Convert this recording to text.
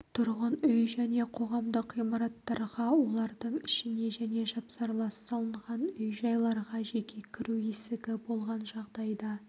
тұрғын үй және қоғамдық ғимараттарға олардың ішіне және жапсарлас салынған үй-жайларға жеке кіру есігі болған жағдайда